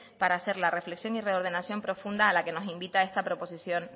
para hacer la reflexión y reordenación profunda a la que nos invita esta proposición